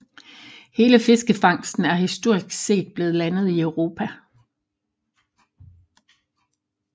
Hele fiskefangsten er historisk set blevet landet i Europa